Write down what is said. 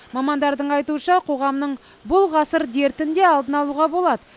мамандардың айтуынша қоғамның бұл ғасыр дертін де алдын алуға болады